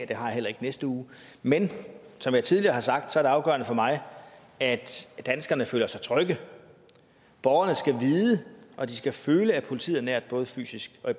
det har jeg heller ikke næste uge men som jeg tidligere har sagt er det afgørende for mig at danskerne føler sig trygge borgerne skal vide og de skal føle at politiet er nært både fysisk og i